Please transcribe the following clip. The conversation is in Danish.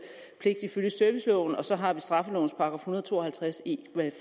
ifølge serviceloven og så har vi straffelovens § en hundrede og to og halvtreds e